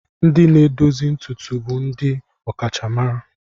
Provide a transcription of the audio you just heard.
Ndị na-edozi ntutu bụ ndị ọkachamara.